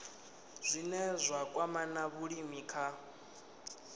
zwine zwa kwama vhulimi kha